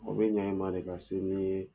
Nko n bɛ ɲɛ i ma de ka se nin ye